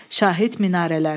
Şahid minarələr.